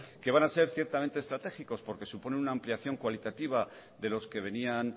que van a ser ciertamente estratégicos porque suponen una ampliación cualitativa de los que venían